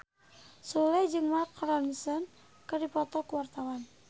Sule jeung Mark Ronson keur dipoto ku wartawan